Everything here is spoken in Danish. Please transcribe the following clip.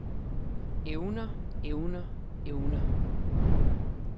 evner evner evner